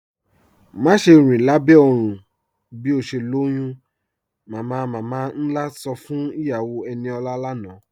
Màṣẹ̀ rin lábẹ́ oòrùn bí o ṣè lọ́yún, "mamamama-nlá sọ́ fún iyàwó Eníọla lánà.